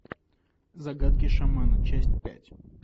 загадки шамана часть пять